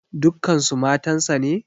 Dukkansu matansa ne?